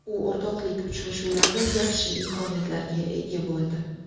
U o‘rtoqlik uchrashuvlarida yaxshi imkoniyatlarga ega bo‘ldi.